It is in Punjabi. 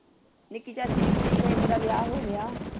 ਨਿੱਕੀ ਚਾਚੀ ਦੀ ਕੁੜੀ ਦਾ ਇੱਕ ਦਾ ਵਿਆਹ ਹੋ ਗਿਆ।